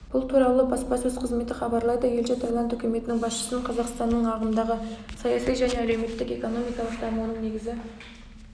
бұл туралы баспасөз қызметі хабарлайды елші таиланд үкіметінің басшысын қазақстанның ағымдағы саяси және әлеуметтік-экономикалық дамуының негізгі